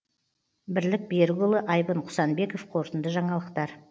бірлік берікұлы айбын құсанбеков қорытынды жаңалықтар